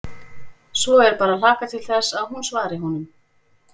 Svo er bara að hlakka til þess að hún svari honum.